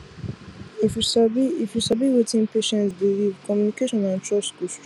if you sabi if you sabi wetin patient believe communication and trust go strong